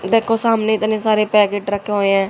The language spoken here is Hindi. देखो सामने इतने सारे पैकेट रखे हुए हैं।